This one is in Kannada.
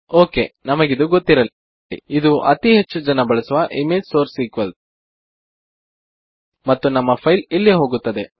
ಓಕೆ ನಿಮಗಿದು ಗೊತ್ತಿರಲಿ ಇದು ಅತೀ ಹೆಚ್ಚು ಜನ ಬಳಸುವ ಇಮೇಜ್ ಸೋರ್ಸ್ ಈಕ್ವಲ್ಸ್ ಮತ್ತು ನಿಮ್ಮ ಫೈಲ್ ಇಲ್ಲಿ ಹೋಗುತ್ತದೆ